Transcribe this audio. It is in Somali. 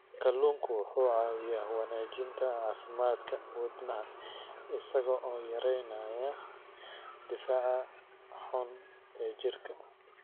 Kalluunku wuxuu caawiyaa wanaajinta caafimaadka wadnaha isagoo yareynaya dufanka xun ee jirka.